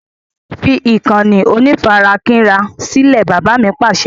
Fi ìkànnì onífarakínra sílẹ̀! Bàbá mi Pàṣẹ.